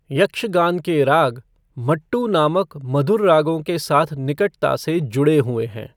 यक्षगान के राग, मट्टू नामक मधुर रागों के साथ निकटता से जुड़े हुए हैं।